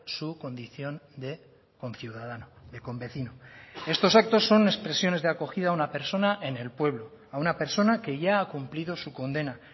su condición de conciudadano de convecino estos actos son expresiones de acogida a una persona en el pueblo a una persona que ya ha cumplido su condena